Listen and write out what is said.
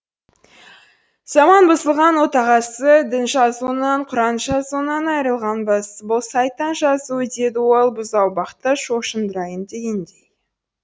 заман бұзылған отағасы дін жазуынан құран жазуынан айрылғанбыз бұл сайтан жазуы деді ол бұзаубақты шошындырайын дегендей